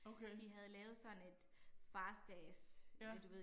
Okay. Ja